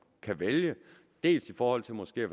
kan vælge dels i forhold til måske